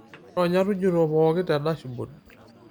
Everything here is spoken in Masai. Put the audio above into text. ironya tujuto pooki tendashibod